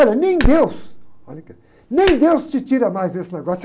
Olha, nem deus, olha que, nem deus te tira mais desse negócio.